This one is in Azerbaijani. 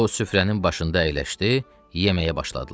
O süfrənin başında əyləşdi, yeməyə başladılar.